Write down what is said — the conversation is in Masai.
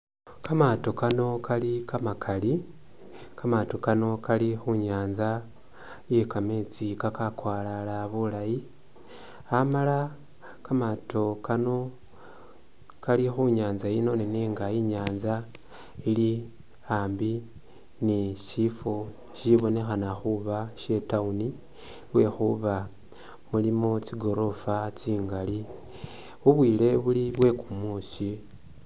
Kamaato kano kali kamakali, Kamaato kano kali khu nyaanza iye kameetsi kakakwalala bulaayi amala kamaato kano kali khu nyaanza yino nenga i'nyaanza yino ili ambi ni syifwo syibonekhana khuba sye i'town lwekhuba mulimo tsigorofa tsingali. Bubwile buli bwe kumuusi.